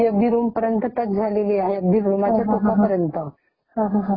आणि या सगळ्या ठिकाणी आपण एका दिवसात जाऊन परत येऊ शकतो ?